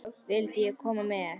Vildi ég koma með?